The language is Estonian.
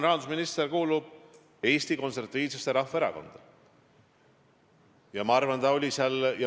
Rahandusminister kuulub Eesti Konservatiivsesse Rahvaerakonda.